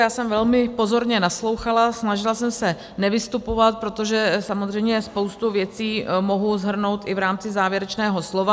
Já jsem velmi pozorně naslouchala, snažila jsem se nevystupovat, protože samozřejmě spoustu věcí mohu shrnout i v rámci závěrečného slova.